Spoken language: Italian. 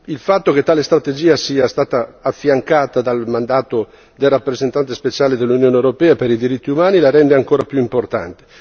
Il fatto che tale strategia sia stata affiancata dal mandato del rappresentante speciale dell'Unione europea per i diritti umani la rende ancora più importante.